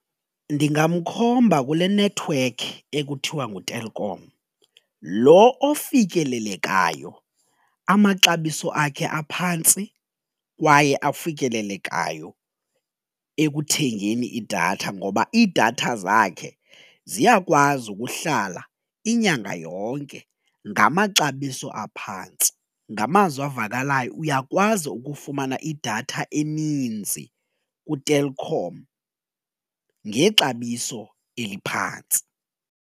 Ndingamkhomba kule nethiwekhi ekuthiwa nguTelkom lo ofikelelekayo amaxabiso akhe aphantsi kwaye afikelelekayo ekuthengeni idatha ngoba iidatha zakhe ziyakwazi ukuhlala inyanga yonke ngamaxabiso aphantsi. Ngamazwi avakalayo uyakwazi ukufumana idatha eninzi kuTelkom ngexabiso eliphantsi.